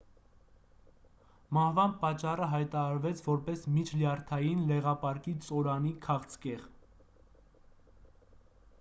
մահվան պատճառը հայտարարվեց որպես միջլյարդային լեղապարկի ծորանի քաղցկեղ